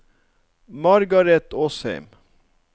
Margaret Åsheim